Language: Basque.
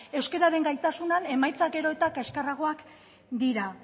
euskararen gaitasunean emaitza gero eta kaskarragoak dira